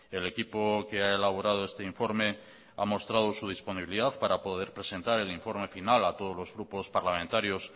el equipo que ha elaborado este informe ha mostrado su disponibilidad para poder presentar el informe final a todos los grupos parlamentarios